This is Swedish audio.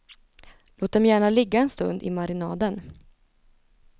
Låt dem gärna ligga en stund i marinaden.